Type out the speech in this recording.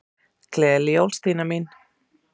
Gleðileg jól, Stína mín.